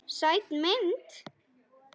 Sæt mynd.